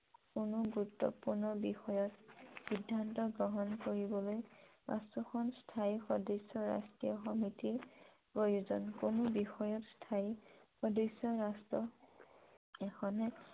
কোনো গুৰুত্বপূৰ্ণ বিষয়ত সিদ্ধান্ত গ্ৰহণ কৰিবলৈ পাচোখন স্থায়ী ৰাষ্ট্ৰীয় সমিতিৰ প্ৰয়োজন । কোনো বিষয়ত স্থায়ী সদস্য ৰাষ্ট্ৰ এখনে